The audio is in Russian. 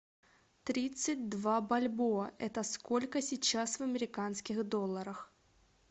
тридцать два бальбоа это сколько сейчас в американских долларах